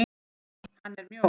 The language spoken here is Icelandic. Hann er mjór.